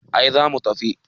ai za mu tafi